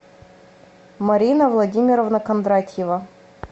марина владимировна кондратьева